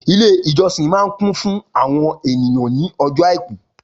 Ilé ìjọsìn máa kún fún àwọn ènìyàn ní ọjọ́ àìkú